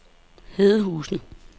Hedehusene